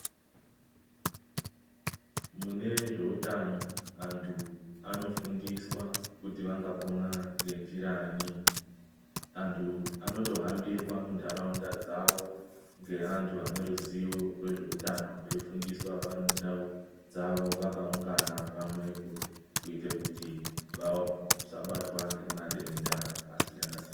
Mune zveutano antu anofundiswa kuti vangapona ngenjiranyi. Antu anotohambirwa muntaraunda dzavo ngeantu ane ruzivo rwezveutano veifundiswa vari mundau dzavo vakaungana pamwepo kuite kuti vasabatwa ngemadenda akasiyana siyana.